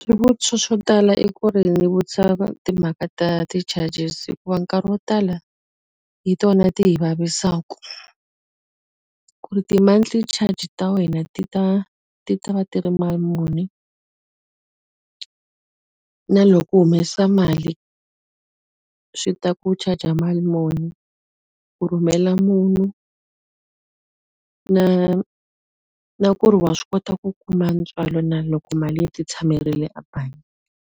Swivutiso swo tala i ku ri ndzi vutisa timhaka ta ti-charges hikuva nkarhi wo tala, hi tona ti hi vavisaka. Ku ri ti-monthly charge ta wena ti ta ti ta va ti ri mali muni? Na loko u humesa mali, swi ta ku charge-a mali muni? Ku rhumela munhu na na ku ri wa swi kota ku kuma ntswalo na loko mali yi ti tshamerile a bangi?